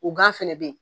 O gan fɛnɛ be yen